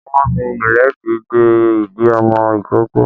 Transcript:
Wọ́n fi ìlédìí de ìdí ọmọ ìkókó